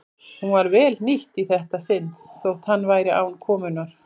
Hún var vel hnýtt í þetta sinn þótt hann væri án konunnar.